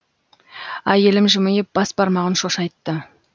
әйелім жымиып бас бармағын шошайтты